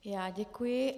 Já děkuji.